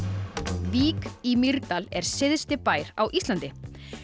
vík í Mýrdal er syðsti bær á Íslandi